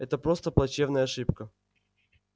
это просто плачевная ошибка